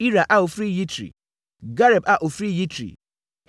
Ira a ɔfiri Yitri; Gareb a ɔfiri Yitri;